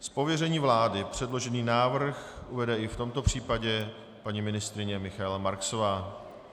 Z pověření vlády předložený návrh uvede i v tomto případě paní ministryně Michaela Marksová.